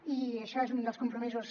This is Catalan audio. i això és un dels compromisos